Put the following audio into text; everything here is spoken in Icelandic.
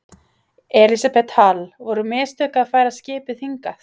Elísabet Hall: Voru mistök að færa skipið hingað?